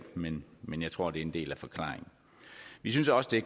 men men jeg tror det er en del af forklaringen vi synes også det